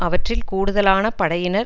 அவற்றில் கூடுதலான படையினர்